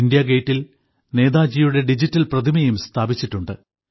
ഇന്ത്യാഗേറ്റിൽ നേതാജിയുടെ ഡിജിറ്റൽ പ്രതിമയും സ്ഥാപിച്ചിട്ടുണ്ട്